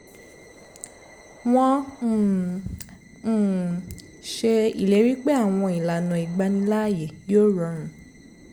wọ́n um um ṣe ìlérí pé àwọn ìlànà ìgbaniláàyè yóò rọrùn